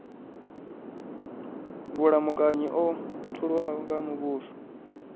vhulamukanyi o tholiwaho nga muvhuso